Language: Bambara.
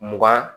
Mugan